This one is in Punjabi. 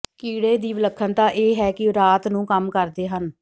ਕੀੜੇ ਦੀ ਵਿਲੱਖਣਤਾ ਇਹ ਹੈ ਕਿ ਉਹ ਰਾਤ ਨੂੰ ਕੰਮ ਕਰਦੇ ਹਨ